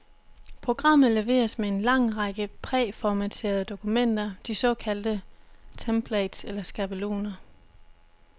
Programmet leveres med en lang række præformatterede dokumenter, de såkaldte templates eller skabeloner.